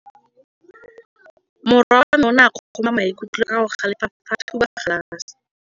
Morwa wa me o ne a kgomoga maikutlo ka go galefa fa a thuba galase.